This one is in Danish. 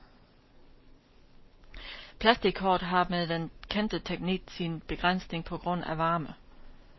Plastickort har med den kendte teknik sin begrænsning på grund af varme.